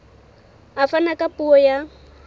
a fana ka puo ya